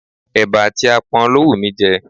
Eba àti apon ló wù mí jẹ.